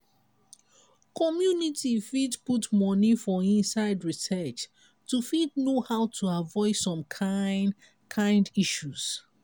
community fit put money for inside research to fit know how to avoid some kind kind issues